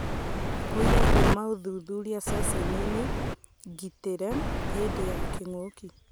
ũira kuuma ũthuthuria ceceniini ngĩtĩre hĩndĩ ya kĩng'ũki.